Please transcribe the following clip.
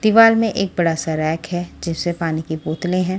दीवाल में एक बड़ा सा रैक है जिस में पानी की बोतलें हैं।